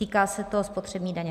Týká se to spotřební daně.